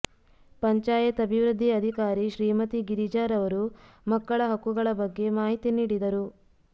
ಪಂಚಾಯತ್ ಅಭಿವೃದ್ಧಿ ಅಧಿಕಾರಿ ಶ್ರೀಮತಿ ಗಿರಿಜಾ ರವರು ಮಕ್ಕಳ ಹಕ್ಕುಗಳ ಬಗ್ಗೆ ಮಾಹಿತಿ ನೀಡಿದರು